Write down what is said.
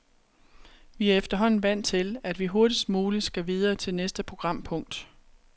Vi er efterhånden vant til, at vi hurtigst muligt skal videre til næste programpunkt.